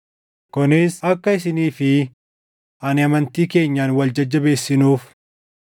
kunis akka isinii fi ani amantii keenyaan wal jajjabeessinuuf.